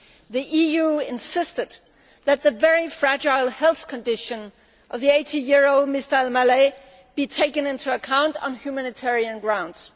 The EU has insisted that the very fragile health condition of the 80 year old Mr Al Maleh be taken into account on humanitarian grounds.